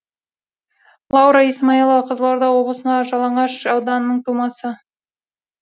лаура исмаилова қызылорда облысындағы жалағаш ауданының тумасы